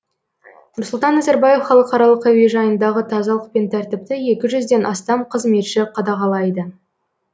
нұрсұлтан назарбаев халықаралық әуежайындағы тазалық пен тәртіпті екі жүзден астам қызметші қадағалайды